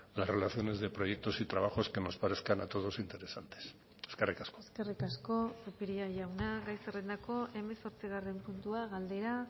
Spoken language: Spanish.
las relaciones de proyectos y trabajos que nos parezcan a todos interesantes eskerrik asko eskerrik asko zupiria jauna gai zerrendako hemezortzigarren puntua galdera